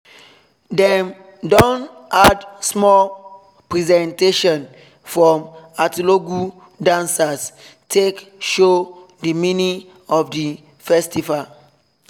dem don add small presentation from atilogwu dancers take show the meaning of the festival